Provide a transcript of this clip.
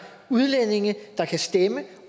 udlændinge der kan stemme